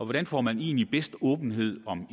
hvordan får man egentlig bedst åbenhed om